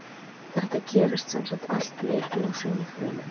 Þetta gerist sem sagt allt í einni og sömu frumunni.